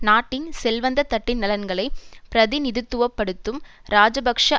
நாட்டின் செல்வந்த தட்டின் நலன்களை பிரதிநிதித்துவ படுத்தும் இராஜபக்ஷ